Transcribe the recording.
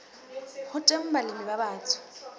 ho teng balemi ba batsho